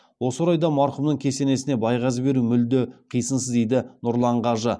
осы орайда марқұмның кесесіне байғазы беру мүлде қисынсыз дейді нұрлан қажы